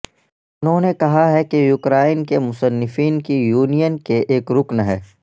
انہوں نے کہا کہ یوکرائن کے مصنفین کی یونین کے ایک رکن ہے